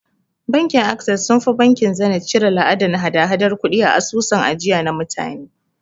Bankin Ases sunfi bankin Zeniz cire la'adan hada hadar kudi a asusun ajiya na mutane